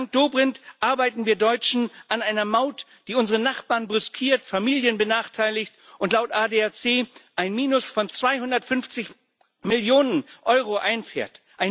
Dank Dobrindt arbeiten wir Deutschen an einer Maut, die unsere Nachbarn brüskiert, Familien benachteiligt und laut ADAC ein Minus von 250 Millionen Euro einfährt.